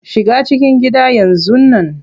Shiga cikin gida yanzun nan.